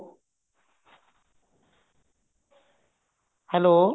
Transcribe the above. hello